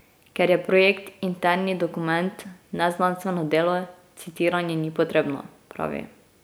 Ker je projekt interni dokument, ne znanstveno delo, citiranje ni potrebno, pravi.